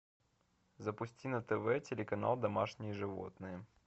запусти на тв телеканал домашние животные